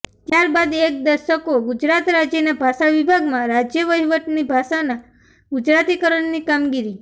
ત્યારબાદ એક દશકો ગુજરાત રાજ્યના ભાષાવિભાગમાં રાજ્યવહીવટની ભાષાના ગુજરાતીકરણની કામગીરી